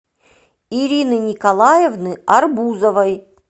ирины николаевны арбузовой